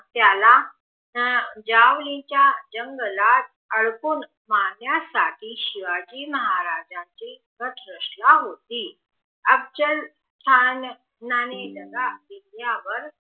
त्याला ज्या मुलींच्या जंगलात अटकूण पाण्यासाठी शिवाजी महाराजांनि प्रतिष्ठा होती अफजल खान त्याने डाग घेतल्या वर